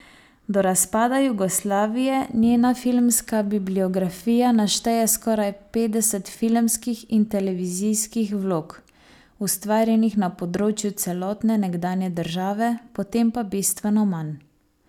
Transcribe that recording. Do razpada Jugoslavije njena filmska bibliografija našteje skoraj petdeset filmskih in televizijskih vlog, ustvarjenih na področju celotne nekdanje države, potem pa bistveno manj.